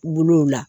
Bolow la